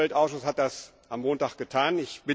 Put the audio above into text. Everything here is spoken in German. Der Umweltausschuss hat das am Montag getan.